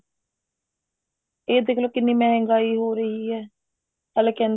ਇਹ ਦੇਖਲੋ ਕਿੰਨੀ ਮਹਿੰਗਾਈ ਹੋ ਰਹੀ ਹੈ ਹਲੇ ਕਹਿੰਦੇ